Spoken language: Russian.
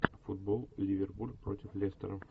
футбол ливерпуль против лестера